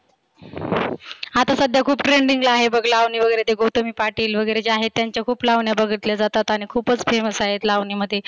आता सध्या खुप trending ला आहे बघ लावणी वगैरे ते गौतमी पाटील वगैरे जे आहेत त्यांच्या खुप लावण्या बघितल्या जातात. आणि खुपच famous आहे लावणी मध्ये